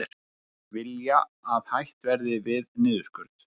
Vilja að hætt verði við niðurskurð